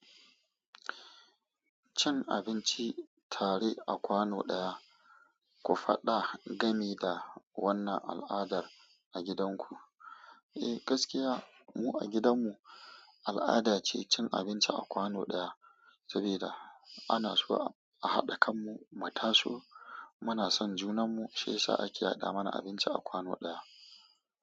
Cin abinci tare a kwano ɗaya, ku faɗa gami da wannan al'adar a gidanku. Eh, gaskiya mu a gidanmu al'ada ce cin abinci a kwano ɗaya, saboda ana so a haɗa kanmu mu taso. Muna son junanmu shiyasa ake hada mana abinci a kwano ɗaya.